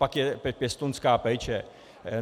Pak je pěstounská péče.